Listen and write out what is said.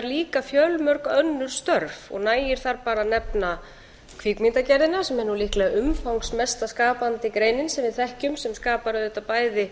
líka fjölmörg önnur störf nægir þar bara að nefna kvikmyndagerðina sem er nú líklega umfangsmesta skapandi greinin sem við þekkjum sem skapar auðvitað bæði